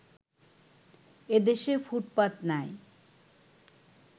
এদেশে ফুটপাত নাই